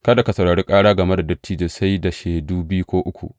Kada ka saurari ƙara game da dattijo sai da shaidu biyu ko uku.